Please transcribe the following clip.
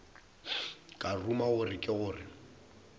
ka ruma gore ke gore